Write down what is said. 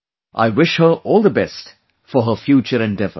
I wish her all the best for her future endeavours